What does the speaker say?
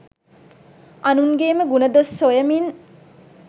අනුන්ගේම ගුණ දොස් සොයමින්